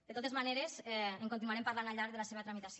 de totes maneres en continuarem parlant al llarg de la seva tramitació